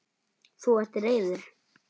Þú ert reiður.